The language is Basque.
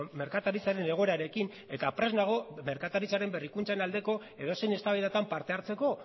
merkataritzaren egoerarekin eta prest nago merkataritzaren berrikuntzaren aldeko edozein eztabaidatan parte hartzeko